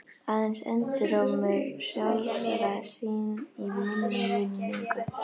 Aðeins endurómur sjálfra sín í minni minningu.